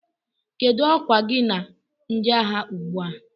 Kedụ ọkwa gị na ndị agha ugbu a?